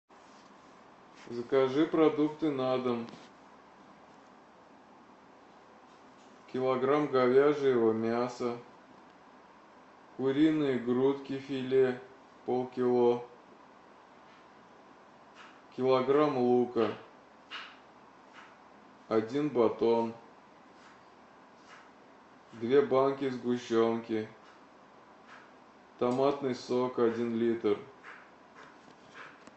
закажи продукты на дом килограмм говяжьего мяса куриные грудки филе полкило килограмм лука один батон две банки сгущенки томатный сок один литр